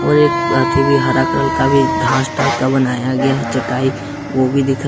और एक बात ही भी हरा कलर का भी घास टाइप का बनाया गया है चटाई वो भी दिख रहा--